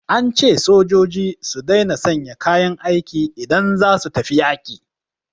An ce sojoji su daina sanya kayan aiki idan za su tafi yaƙi